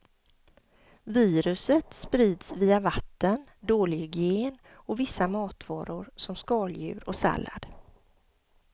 Viruset sprids via vatten, dålig hygien och vissa matvaror som skaldjur och sallad.